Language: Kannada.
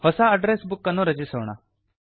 ಹೊಸ ಅಡ್ಡ್ರೆಸ್ ಬುಕ್ ಅನ್ನು ರಚಿಸೋಣ